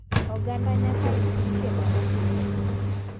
Oganda nyaka lu chike ma oketi.